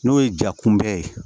N'o ye ja kunbɛ ye